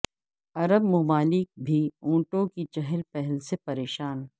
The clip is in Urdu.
عرب ممالک بھی اونٹوں کی چہل پہل سے پریشان